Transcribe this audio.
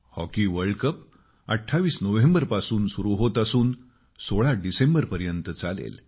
hockey world cup 2018 नोव्हेंबरमध्ये सुरु होत असून 16 डिसेंबरपर्यंत चालेल